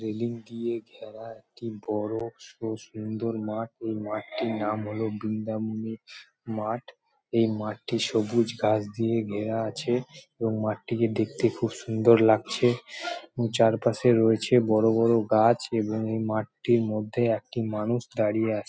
Railing দিয়ে ঘেরা একটি বড়ো স সুন্দর মাঠ ওই মাঠটির নাম হল বৃন্দাবনীর মাঠ এই মাঠটি সবুজ ঘাস দিয়ে ঘেরা আছে এবং মাঠটিকে দেখতে খুব সুন্দর লাগছে চারপাশে রয়েছে বড়ো বড়ো গাছ এবং এই মাঠটির মধ্যে একটি মানুষ দাঁড়িয়ে আছে।